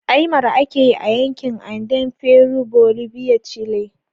Aymara ake yi a Yankin Andean (Peru, Bolivia, Chile)